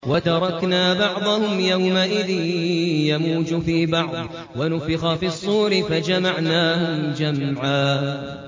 ۞ وَتَرَكْنَا بَعْضَهُمْ يَوْمَئِذٍ يَمُوجُ فِي بَعْضٍ ۖ وَنُفِخَ فِي الصُّورِ فَجَمَعْنَاهُمْ جَمْعًا